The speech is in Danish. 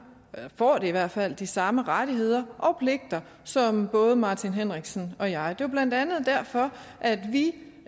eller får i hvert fald de samme rettigheder og pligter som både herre martin henriksen og jeg har det er blandt andet derfor at vi